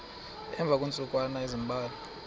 emva kweentsukwana ezimbalwa